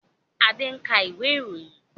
Adé ń ka ìwé ìròyìn